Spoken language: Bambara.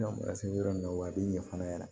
N'an bɔra se yɔrɔ min na wa a bɛ ɲɛ fana